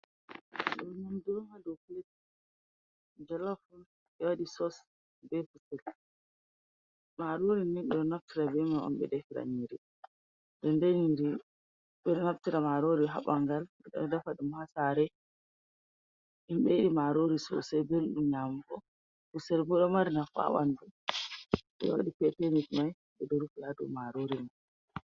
Nyamdu on ha dow pilet jolof on ɓe bee sos, bee kusel maarori ɓe ɗo naftira maaroori haa ɓanngal ndaa ɓe ɗo defa ɗum, hasare himɓe ɗo yiɗi maaroori sosai belɗum nyaamgo kusel boo ɗo mari nafu haa ɓanndu, ɗo hawri bee kaabace mai ɓe ɗo rufi haa dow maaroori man.